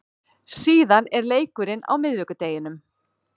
Síðan er leikurinn á miðvikudeginum.